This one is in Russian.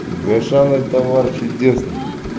гошана товар чудесный